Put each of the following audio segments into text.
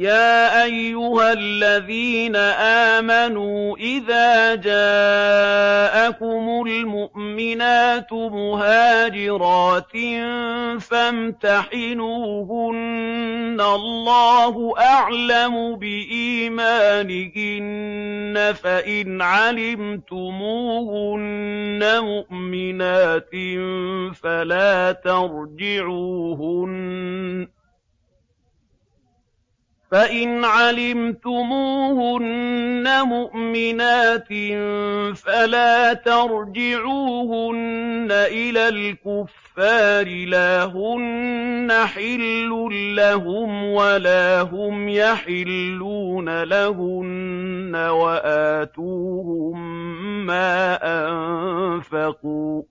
يَا أَيُّهَا الَّذِينَ آمَنُوا إِذَا جَاءَكُمُ الْمُؤْمِنَاتُ مُهَاجِرَاتٍ فَامْتَحِنُوهُنَّ ۖ اللَّهُ أَعْلَمُ بِإِيمَانِهِنَّ ۖ فَإِنْ عَلِمْتُمُوهُنَّ مُؤْمِنَاتٍ فَلَا تَرْجِعُوهُنَّ إِلَى الْكُفَّارِ ۖ لَا هُنَّ حِلٌّ لَّهُمْ وَلَا هُمْ يَحِلُّونَ لَهُنَّ ۖ وَآتُوهُم مَّا أَنفَقُوا ۚ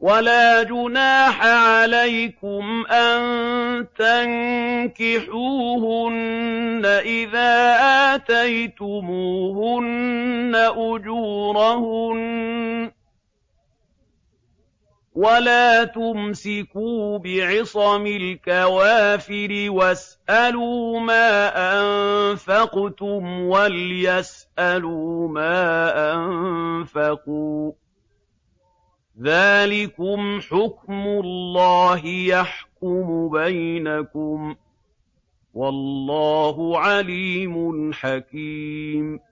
وَلَا جُنَاحَ عَلَيْكُمْ أَن تَنكِحُوهُنَّ إِذَا آتَيْتُمُوهُنَّ أُجُورَهُنَّ ۚ وَلَا تُمْسِكُوا بِعِصَمِ الْكَوَافِرِ وَاسْأَلُوا مَا أَنفَقْتُمْ وَلْيَسْأَلُوا مَا أَنفَقُوا ۚ ذَٰلِكُمْ حُكْمُ اللَّهِ ۖ يَحْكُمُ بَيْنَكُمْ ۚ وَاللَّهُ عَلِيمٌ حَكِيمٌ